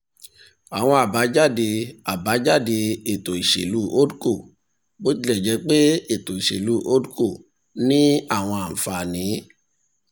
àwọn àbájáde àbájáde ètò ìṣèlú holdco bó tilẹ̀ jẹ́ pé ètò ìṣèlú holdco ní àwọn àǹfààní